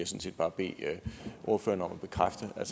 set bare bede ordføreren om at bekræfte at